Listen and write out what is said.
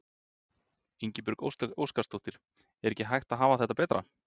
Ingibjörg Óskarsdóttir: Er ekki hægt að hafa þetta betra?